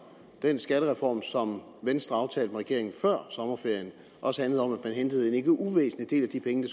den skattereform som venstre aftalte med regeringen før sommerferien også handlede om at man hentede en ikke uvæsentlig del af de penge